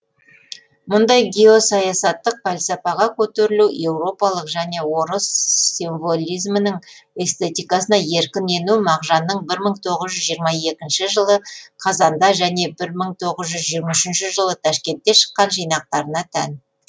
мұндай геосаясаттық пәлсәпаға көтерілу еуропалық және орыс символизмінің эстетикасына еркін ену мағжанның бір мың тоғыз жүз жиырма екінші жылы қазанда және бір мың тоғыз жүз жиырма үшінші жылы ташкентте шыққан жинақтарына тән